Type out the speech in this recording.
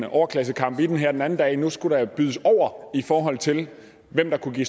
overklassekamp i det her den anden dag for nu skulle der bydes over i forhold til hvem der kunne give